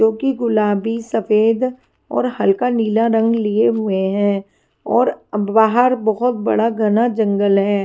जो कि गुलाबी सफेद और हल्का नीला रंग लिए हुए हैं और बाहर बहोत बड़ा घना जंगल है।